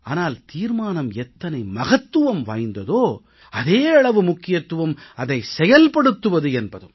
ஆனால் தீர்மானம் எத்தனை மகத்துவம் வாய்ந்ததோ அதே அளவு முக்கியம் அதை செயல்படுத்துவது என்பதும்